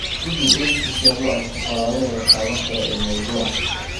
Guji xiriirka si aad u aragto qoraallada la taaban karo ee mawduucan.